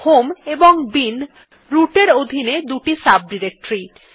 home এবং bin root এর অধীনে দুই সাব ডিরেক্টরী